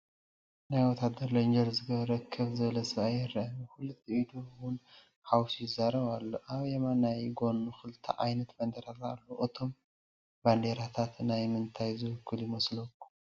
ናይ ወታደር ሌንጄር ዝገበረ ከፍ ዝበለ ሰብ ይረአ፡፡ ብክልቲኡ ኢዱ ውን ሓዊሱ የዛረብ ኣሎ፡፡ አብ የማናይ ጎኑ 2+ ዓይነት ባንዴራታት ኣለው፡፡ እቶም ባንዴራታት ናይ ምንታይ ዝውክሉ ይመስለኩም?